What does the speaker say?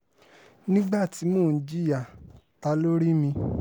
nígbà tí mò ń jìyà ta ló rí mi